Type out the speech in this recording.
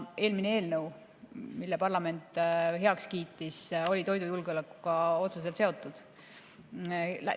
Eelmine eelnõu, mille parlament heaks kiitis, oli toidujulgeolekuga otseselt seotud.